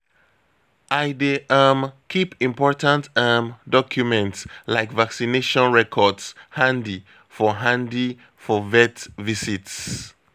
I dey um keep important um documents like vaccination records handy for handy for vet visits